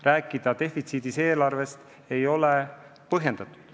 Rääkida defitsiidis eelarvest ei ole põhjendatud.